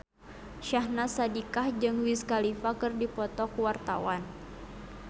Syahnaz Sadiqah jeung Wiz Khalifa keur dipoto ku wartawan